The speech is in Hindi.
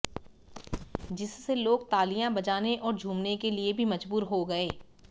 जिससे लोग तालियां बजाने और झूमने के लिए भी मजबूर हो गए